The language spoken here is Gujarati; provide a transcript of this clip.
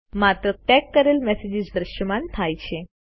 માત્ર ટેગ કરેલ મેસેજીસ જ દ્રશ્યમાન થયા છે